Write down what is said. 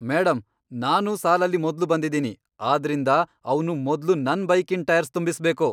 Madam, ನಾನು ಸಾಲಲ್ಲಿ ಮೊದ್ಲು ಬಂದಿದೀನಿ, ಆದ್ರಿಂದ ಅವ್ನು ಮೊದ್ಲು ನನ್ ಬೈಕಿನ್ ಟೈರ್ಸ್ ತುಂಬಿಸ್ಬೇಕು.